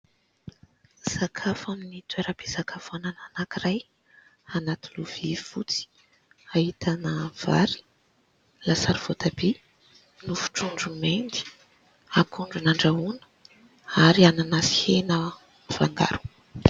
Sakafo amin'ny toeram-pisakafoanana anankiray anaty lovia fotsy. Ahitana vary, lasary voatabia, nofo trondro mendy, akondro nandrahoana ary anana sy hena mifangaro.